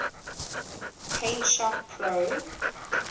paint shop pro